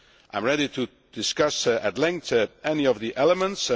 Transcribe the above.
I am ready to discuss at length any of the elements.